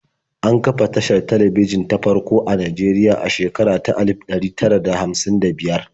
An kafa tashar talabijin ta farko a Najeriya a shekara ta alif ɗari tara da hamsin da biyar.